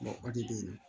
o de bɛ yen nɔ